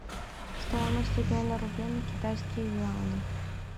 стоимость обмена рублей на китайские юани